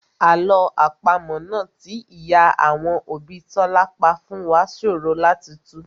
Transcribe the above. Àlọ́ àpamọ́ náà tí ìyá àwọn òbí Tọ́lá pa fún wá ṣòro láti tù